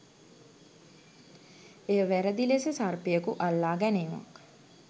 එය වැරදි ලෙස සර්පයකු අල්ලා ගැනීමක්